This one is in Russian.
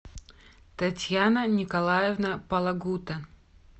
татьяна николаевна палагута